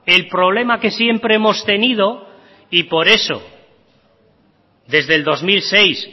el problema que siempre hemos tenido y por eso desde el dos mil seis